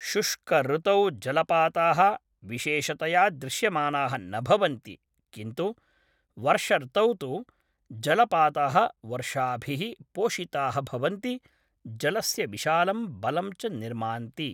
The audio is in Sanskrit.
शुष्कऋतौ जलपाताः विशेषतया दृश्यमानाः न भवन्ति किन्तु वर्षर्तौ तु जलपाताः वर्षाभिः पोषिताः भवन्ति, जलस्य विशालं बलं च निर्मान्ति